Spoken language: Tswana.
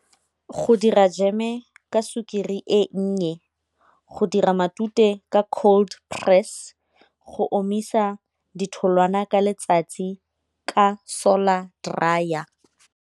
Go dira jeme ka sukiri e nnye, go dira matute ka cold press, go omisa ditholwana ka letsatsi ka solar dryer.